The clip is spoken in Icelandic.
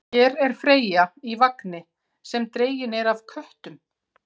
Hér er Freyja í vagni sem dreginn er af köttum.